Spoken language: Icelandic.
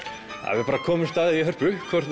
við komumst að því í Hörpu hvort